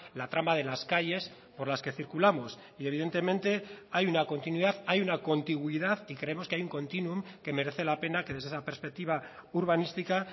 la trama de las calles por las que circulamos y evidentemente hay una continuidad hay una contigüidad y creemos que hay un continuum que merece la pena que desde esa perspectiva urbanística